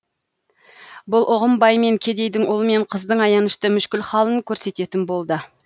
бұл ұғым бай мен кедейдің ұл мен қыздың аянышты мүшкіл халін көрсететін болды